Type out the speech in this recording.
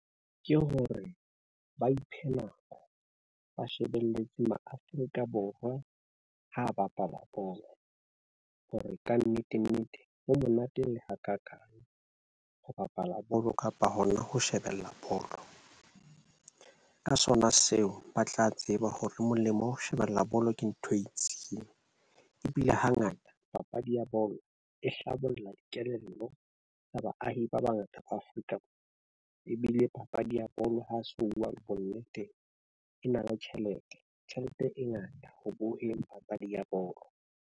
Ke hore ba iphe nako ba shebeletse mo Afrika Borwa ho bapala bo hore kannete nnete ho monate le ho bapala bolo kapa hona ho shebella bolo ka sona seo ba tla tseba hore molemo ho shebella bolo ke ntho e itseng. Ebile hangata papadi ya bolo e hlabolla kelello tsa baahi ba bangata ba Afrika ebile papadi ya bolo ha se buwa. Bonneteng e na le tjhelete tjhelete e ngata ho bohemo papadi ya bolo.